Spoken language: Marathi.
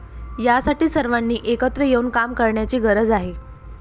यासाठी सर्वांनी एकत्र येऊन काम करण्याची गरज आहे.